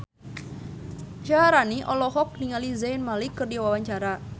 Syaharani olohok ningali Zayn Malik keur diwawancara